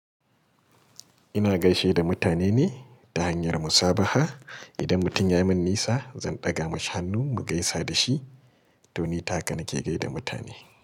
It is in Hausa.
Ina gaishe da mutane ne ta hanyar musabaha. Idan mutum ya min nisa, zan ɗaga mashi hannu mu gaisa da shi. To ni ta haka nake gaida mutane.